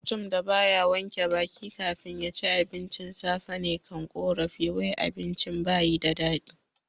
Mutum da ba ya wanke baki kafin ya ci abincin safe ne kan korafi wai abincin ba yi da dadi.